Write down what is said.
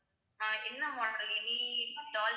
அஹ் என்ன model any doll